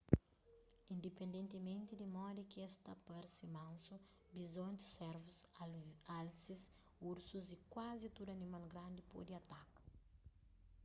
indipendentimenti di modi ki es ta parse mansu bizontis servus alsis ursus y kuazi tudu animal grandi pode ataka